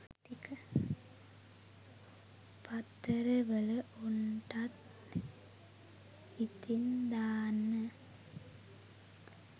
පත්තර වල උන්ටත් ඉතින් දාන්න